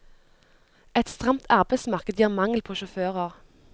Et stramt arbeidsmarked gir mangel på sjåfører.